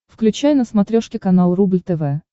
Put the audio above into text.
включай на смотрешке канал рубль тв